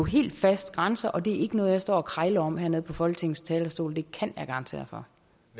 helt fast grænse og det er ikke noget jeg står og krejler om her på folketingets talerstol det kan jeg garantere for